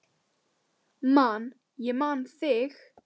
Man ég man þig